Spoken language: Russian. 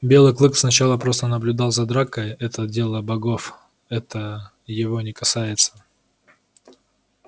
белый клык сначала просто наблюдал за дракой это дело богов это его не касается